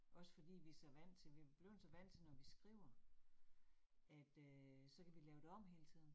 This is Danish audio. Også fordi vi så vant til, vi blevet så vant til, når vi skriver, at øh så kan vi lave det om hele tiden